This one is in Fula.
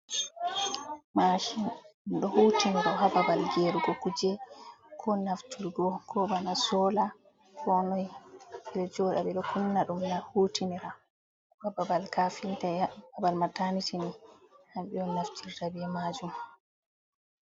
Mashin dum ɗo hutinira ha babal gerugo kuje ko naftirgo ko bana sola konoi 6 um hutinira ha babal kafintai abal matanitin man naftirta be majum.